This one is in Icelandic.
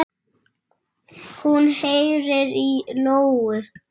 Hún heyrir í lóu.